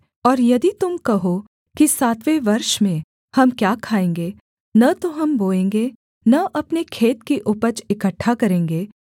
और यदि तुम कहो कि सातवें वर्ष में हम क्या खाएँगे न तो हम बोएँगे न अपने खेत की उपज इकट्ठा करेंगे